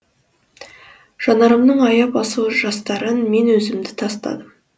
жанарымның аяп асыл жастарын мен өзіңді тастадым